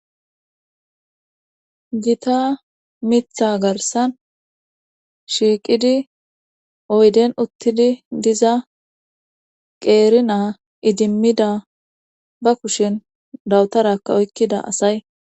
gita mitha garsan shiiqidi oyden uttidi diza qeerina idimmida ba kushen dawutarakka oykkida asay